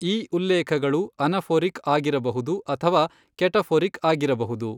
ಈ ಉಲ್ಲೇಖಗಳು ಅನಫೊರಿಕ್ ಆಗಿರಬಹುದು ಅಥವಾ ಕೆಟಫೊರಿಕ್ ಆಗಿರಬಹುದು.